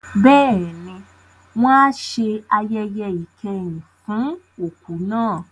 Bẹ́ẹ̀ni, wọn a ṣe ayẹyẹ ìkẹyìn fún òkú náà.